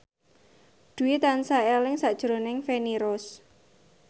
Dwi tansah eling sakjroning Feni Rose